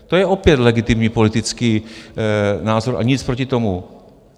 To je opět legitimní politický názor a nic proti tomu.